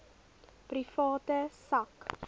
private sak